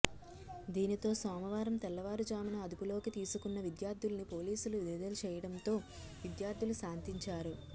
దీనితో సోమవారం తెల్లవారుజామున అదుపులోకి తీసుకున్న విద్యార్థుల్ని పోలీసులు విడుదల చేయడంతో విద్యార్థులు శాంతించారు